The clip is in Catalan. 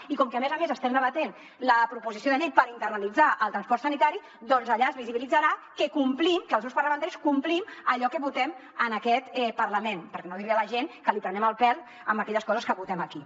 i com que a més a més estem debatent la proposició de llei per internalitzar el transport sanitari allà es visibilitzarà que complim que els grups parlamentaris complim allò que votem en aquest parlament per no dir li a la gent que li prenem el pèl amb aquelles coses que votem aquí